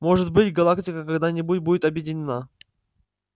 может быть галактика когда-нибудь будет объединена